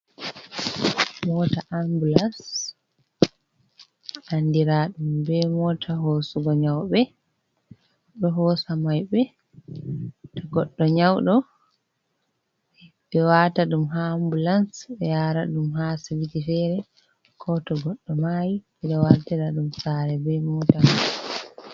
Mota ambulas, andira ɗum be mota hosugo nyaube, ɗo hosa maibe, to goddo nyaudo ɓe wata ɗum ha ambulas ɓe yara ɗum ha asibiti fere ko to goɗɗo mayi ɓe ɗo wartira ɗum saare be mota mai.